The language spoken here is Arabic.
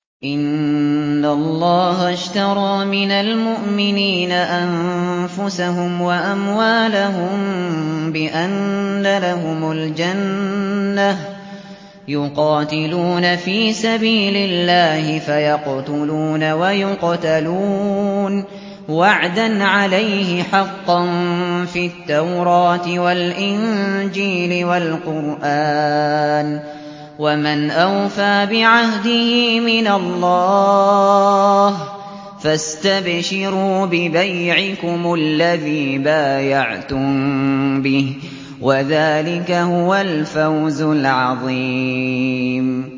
۞ إِنَّ اللَّهَ اشْتَرَىٰ مِنَ الْمُؤْمِنِينَ أَنفُسَهُمْ وَأَمْوَالَهُم بِأَنَّ لَهُمُ الْجَنَّةَ ۚ يُقَاتِلُونَ فِي سَبِيلِ اللَّهِ فَيَقْتُلُونَ وَيُقْتَلُونَ ۖ وَعْدًا عَلَيْهِ حَقًّا فِي التَّوْرَاةِ وَالْإِنجِيلِ وَالْقُرْآنِ ۚ وَمَنْ أَوْفَىٰ بِعَهْدِهِ مِنَ اللَّهِ ۚ فَاسْتَبْشِرُوا بِبَيْعِكُمُ الَّذِي بَايَعْتُم بِهِ ۚ وَذَٰلِكَ هُوَ الْفَوْزُ الْعَظِيمُ